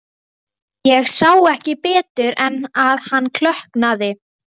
Ég sá ekki betur en að hann klökknaði.